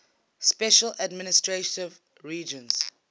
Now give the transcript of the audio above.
special administrative regions